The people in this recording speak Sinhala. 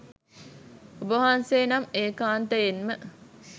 ඔබවහන්සේ නම් ඒකාන්තයෙන්ම